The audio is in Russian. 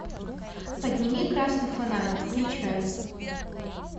подними красный фонарь включай